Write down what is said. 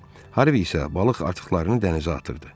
Harvi isə balıq artıqlarını dənizə atırdı.